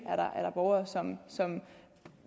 er der borgere som